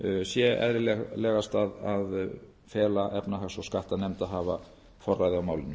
sé eðlilegast að fela efnahags og skattanefnd að hafa forræði á málinu